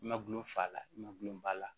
Ma gulon fa la ma gulon ba la